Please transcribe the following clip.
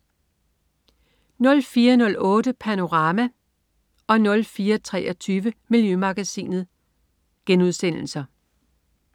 04.08 Panorama* 04.23 Miljømagasinet*